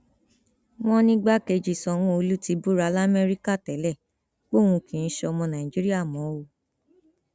wọn nìgbàkejì sanwóolu ti búra lamẹríkà tẹlẹ póun kì í sọmọ nàìjíríà mọ o